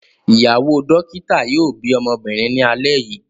Ìyàwó dókítà yóò bí ọmọbìnrin ní alẹ́ yìí.